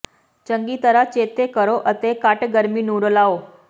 ਚੰਗੀ ਤਰ੍ਹਾਂ ਚੇਤੇ ਕਰੋ ਅਤੇ ਘੱਟ ਗਰਮੀ ਨੂੰ ਰਲਾਓ